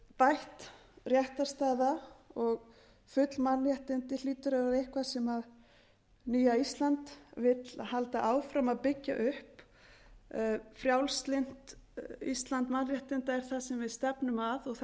bætt réttarstaða og full mannréttindi hlýtur að vera eitthvað sem nýja ísland vill halda áfram að byggja upp frjálslynt ísland mannréttinda er það sem við stefnum að og